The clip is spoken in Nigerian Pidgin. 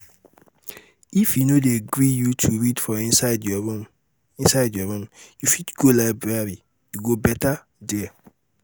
if e no dey gree you to read for inside your room inside your room you fit go library e go better there